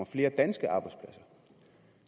flere danske arbejdspladser